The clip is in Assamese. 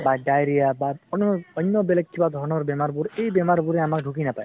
বা diarrhea বা অনʼ অন্য় বেলেগ কিবা ধৰণৰ বেমাৰ বোৰ এই বেমাৰ বোৰে আমাক ঢুকি নাপায়।